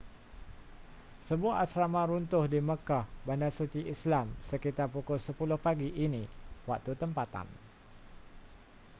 sebuah asrama runtuh di makkah bandar suci islam sekitar pukul 10 pagi ini waktu tempatan